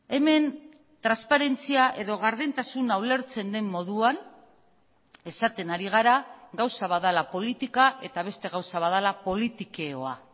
hemen transparentzia edo gardentasuna ulertzen den moduan esaten ari gara gauza bat dela politika eta beste gauza bat dela politikeoa